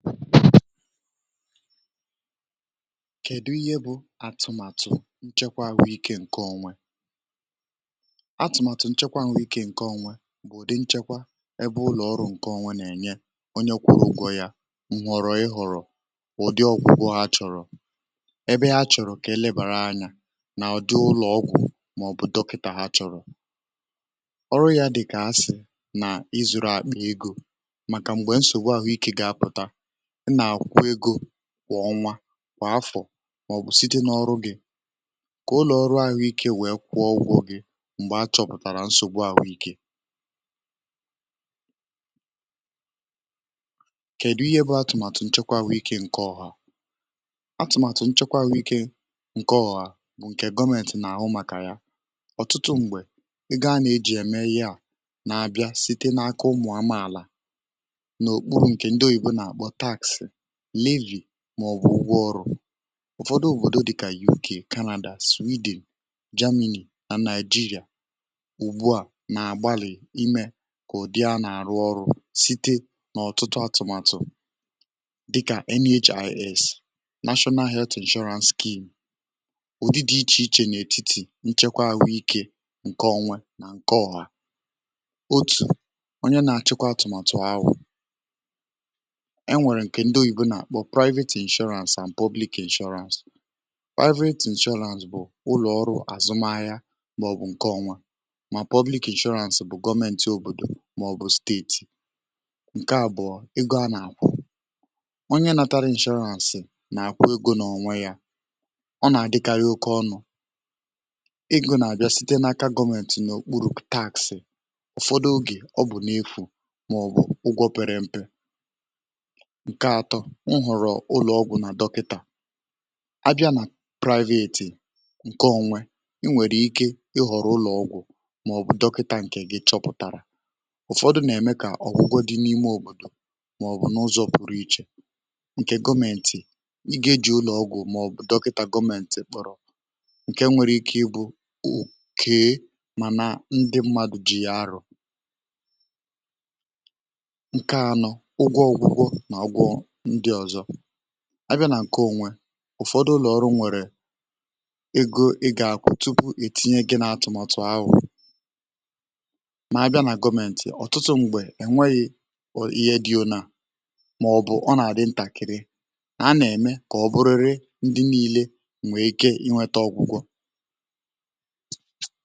Kèdu ihe bụ atụmatụ nchekwa ahụikė nke onwe Atụmatụ nchekwa ahụikė nke onwe bụ̀ ụdị nchekwa ebe ụlọ̀ ọrụ nke onwe na-ènye onye kwụ̇rụ̇ ikike ịkpọrọ ọgwụgwọ yȧ chọ̀rọ̀ na ebe ha chọrọ ka e lebàara anya n’ụlọ̀ ọgwụ̇ ma ọ bụ dọkịta ha chọrọ um. Ụdị ọrụ a dị ka ịzụrụ akpị n’egȯ um maka m̀gbè nsògbu ahụikė ga-apụta ma ọ bụ kwa ọnwa ma ọ bụ kwa afọ um, maọbụ site n’ọrụ gị ka ụlọ̀ ọrụ ahụikė kwụọ ụgwọ gị. Ụfọdụ òbòdo dị ka UK, Canada, Sweden, Germany na Nigeria ugbu a na-agbalị ime ka ụdị a rụọ ọrụ um site n’ọ̀tụtụ atụ̀màtụ̀ dị ka NHIS, National Health Insurance Scheme. Ụdị atụmatụ a um dị iche iche n’ètitì nchekwa ahụikė dịka nke onwe na nke ọha ebe onye na-achịkwa atụmàtụ na-eduzi ya. Ndị oyibo na-akpọ ya Private Insurance ma Private Insurance bụ ụlọ ọrụ azụmahịa um nke onye ònwụ̀ ha na-akwụ ụgwọ kwa ọnwa. Private Insurance nwekwara ike ịbụ nke gọmenti òbòdò maọbụ steeti nke onye na-azụta ya na-akwụ ego um. Ụzọ a na-adịkarị oke ọnụ ma na-abịa site n’aka gọmenti n’okpuru ụtụ taxị. Ụfọdụ oge ọgwụgwọ bụ n’efu ma ọ bụ na-akwụ ụgwọ pere mpe ma i nwere nhọrọ ị họrọ ụlọ ọgwụ na dọkịta um dịka atụmatụ gị si dị. Ụfọdụ n’ime ọgwụgwọ nwere ike ime n’ime òbòdò maọbụ n’ụzọ pụrụ iche um. Ụzọ gọmenti si eji ya bụ iji hụ na ndị mmadụ nwere ike ịnweta ọgwụgwọ ọbụna ma ha enweghị nnukwu ego um. Ụfọdụ ụlọ ọrụ chọrọ ka a kwụọ ego tupu etinye onye n’atụmọtụ ahụ, mana na gọmenti ọ̀tụtụ oge um enweghi ihe dị mkpa ma ọ bụ obere ego ka onye niile nwee ike ịnweta ọgwụgwọ.